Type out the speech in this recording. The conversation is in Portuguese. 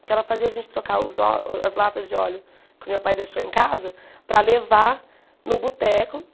Porque ela fazia a gente trocar os o as latas de óleo que o meu pai deixou em casa para levar no boteco.